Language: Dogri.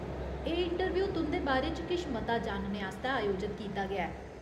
एह् इंटरव्यू तुं'दे बारे च किश मता जानने आस्तै आयोजत कीता गेआ ऐ।